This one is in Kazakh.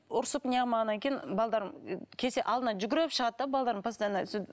ұрсып не қылмағаннан кейін келсе алдынан жүгіріп шығады да постоянно сөйтіп